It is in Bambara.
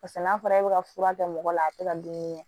Paseke n'a fɔra e be ka fura kɛ mɔgɔ la a te ka dumuni kɛ